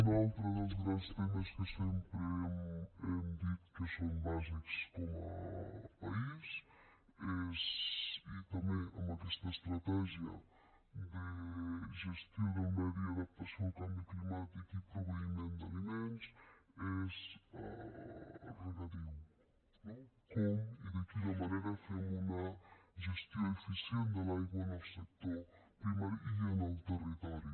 un altre dels grans temes que sempre hem dit que són bàsics com a país i també amb aquesta estratègia de gestió del medi adaptació al canvi climàtic i proveïment d’aliments és el regadiu no com i de quina manera fem una gestió eficient de l’aigua en el sector primari i en el territori